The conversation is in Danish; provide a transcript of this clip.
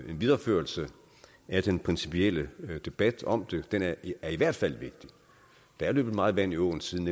videreførelse af den principielle debat om det den er i hvert fald vigtig der er løbet meget vand i åen siden